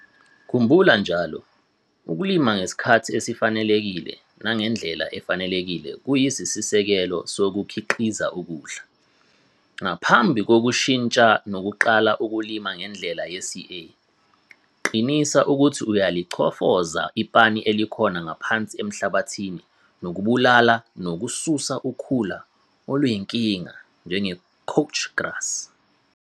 Khumbula njalo- ukulima ngesikhathi esifanelekile nangendlela efanelekile kuyisisekelo sokukhiqiza ukudla. Ngaphambi kokushintsha nokuqala ukulima ngendlela ye-CA, qinisa ukuthi uyalichofoza ipani elikhona ngaphansi emhlabathini nokubulala nokususa ukhula oluyinkinga njenge-'coach grass'.